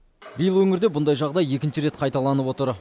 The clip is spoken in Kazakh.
биыл өңірде бұндай жағдай екінші рет қайталанып отыр